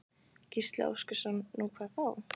Gísli Óskarsson: Nú, hvað þá?